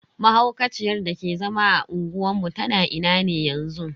Mahaukaciyar dake zama a unguwar mu tana ina ne yanzu?